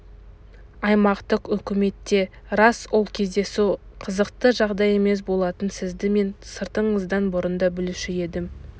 аймақтық үкіметте рас ол кездесу қызықты жағдай емес болатын сізді мен сыртыңыздан бұрын да білуші едім